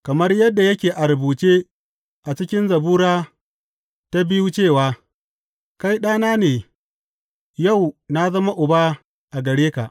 Kamar yadda yake a rubuce a cikin Zabura ta biyu cewa, Kai Ɗana ne, yau na zama Uba a gare ka.’